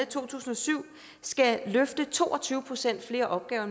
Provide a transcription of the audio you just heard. to tusind og syv skal løfte to og tyve procent flere opgaver